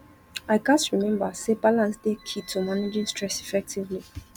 i gats remember say balance dey key to managing stress effectively